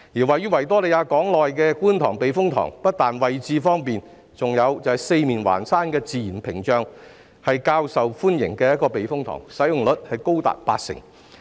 位於維港內的觀塘避風塘不單位置方便，還有四面環山的自然屏障保護，是較受歡迎的避風塘，使用率高達八成。